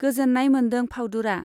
गोजोन्नाय मोन्दों फाउदुरा।